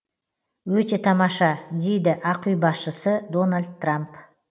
өте тамаша дейді ақ үй басшысы дональд трамп